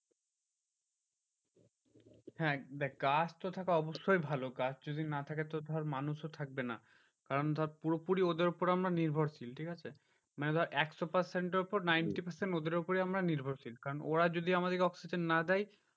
হ্যাঁ দেখ গাছ তো থাকা অবশ্যই ভালো। গাছ যদি না থাকে তো ধর মানুষ ও থাকবে না। কারণ ধর পুরোপুরি ওদের উপর আমরা নির্ভরশীল, ঠিকাছে মানে ধর একশো percent এর উপর ninety percent ওদের উপরেই আমরা নির্ভরশীল। কারণ ওরা যদি আমাদেরকে oxygen না দেয়